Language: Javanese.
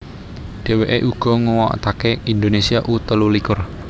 Dheweke uga nguwatake Indonesia U telulikur